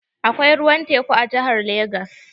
Akwai ruwan teku a jihar Legas.